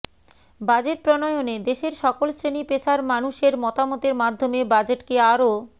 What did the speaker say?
budget প্রণয়নে দেশের সকল শ্রেণি পেশার মানুষের মতামতের মাধ্যমে বাজেটকে আরও